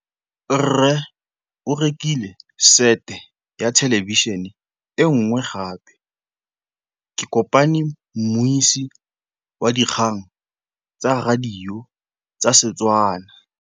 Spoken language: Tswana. Rre o rekile sete ya thêlêbišênê e nngwe gape. Ke kopane mmuisi w dikgang tsa radio tsa Setswana.